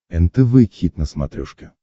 нтв хит на смотрешке